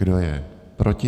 Kdo je proti?